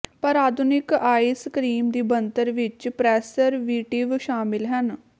ਪਰ ਆਧੁਨਿਕ ice cream ਦੀ ਬਣਤਰ ਵਿੱਚ ਪ੍ਰੈਸਰਵੀਟਿਵ ਸ਼ਾਮਲ ਹਨ